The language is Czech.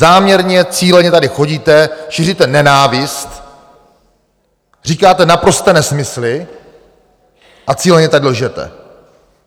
Záměrně, cíleně tady chodíte, šíříte nenávist, říkáte naprosté nesmysly a cíleně tak lžete.